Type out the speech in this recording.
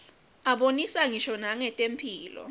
abonisa ngisho nangetemphilo